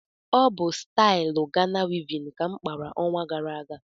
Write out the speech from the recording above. Ọ bụ stailu Gana wivin ka m kpara ọnwa gara aga